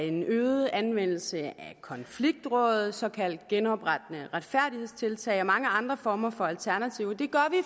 en øget anvendelse af konfliktråd såkaldte genoprettende retfærdighedstiltag og mange andre former for alternativer og